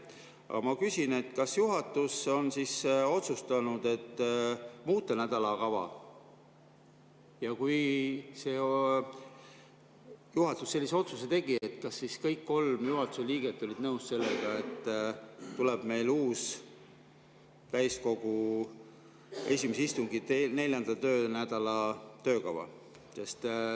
Aga ma küsin, kas juhatus on otsustanud muuta nädalakava, ja kui juhatus sellise otsuse tegi, kas siis kõik kolm juhatuse liiget olid nõus sellega, et tuleb uus täiskogu 4. töönädala töökava.